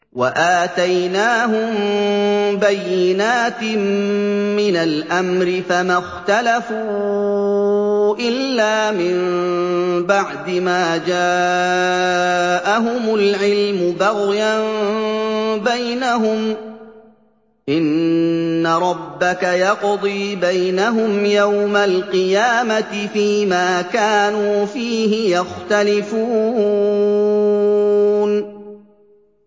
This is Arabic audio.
وَآتَيْنَاهُم بَيِّنَاتٍ مِّنَ الْأَمْرِ ۖ فَمَا اخْتَلَفُوا إِلَّا مِن بَعْدِ مَا جَاءَهُمُ الْعِلْمُ بَغْيًا بَيْنَهُمْ ۚ إِنَّ رَبَّكَ يَقْضِي بَيْنَهُمْ يَوْمَ الْقِيَامَةِ فِيمَا كَانُوا فِيهِ يَخْتَلِفُونَ